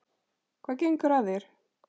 Hvað gengur að þér?